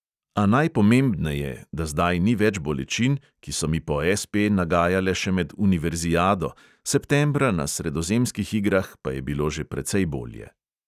A najpomembneje, da zdaj ni več bolečin, ki so mi po SP nagajale še med univerziado, septembra na sredozemskih igrah pa je bilo že precej bolje.